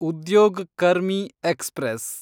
Udyog Karmi express